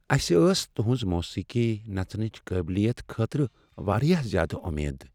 اَسِہ ٲس تہنٛز موسیقی، نژنٕچ قابلیتہٕ خٲطرٕ واریاہ زیادٕ امید۔